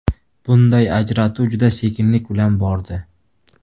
Bunday ajratuv juda sekinlik bilan bordi.